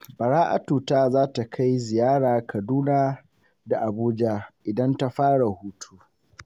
Bara'atu ta za ta kai ziyara Kaduna da Abuja idan ta fara hutu.